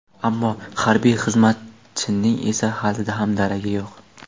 ammo harbiy xizmatchining esa hali ham daragi yo‘q.